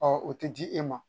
o tɛ di e ma